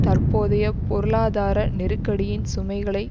தற்போதைய பொருளாதார நெருக்கடியின் சுமைகளை